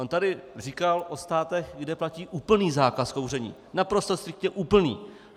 On tady říkal o státech, kde platí úplný zákaz kouření, naprosto striktně úplný.